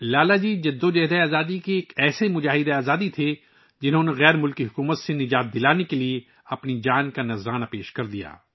لالہ جی ایک مجاہد آزادی تھے، جنھوں نے ہمیں غیر ملکی حکم رانی سے آزاد کرانے کے لیے اپنی جان قربان کر دی